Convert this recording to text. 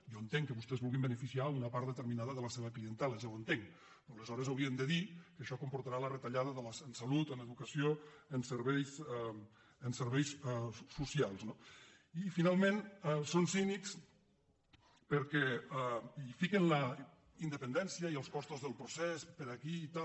jo entenc que vostès vulguin beneficiar una part determinada de la seva clientela ja ho entenc pe·rò aleshores haurien de dir que això comportarà la re·tallada en salut en educació en serveis socials no i finalment són cínics perquè hi fiquen la indepen·dència i els costos del procés per aquí i tal